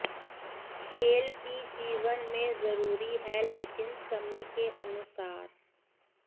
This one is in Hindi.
खेल भी जीवन में ज़रूरी है लेकिन समय के अनुसार